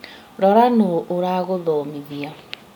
Rora nũũ ũragũthomithia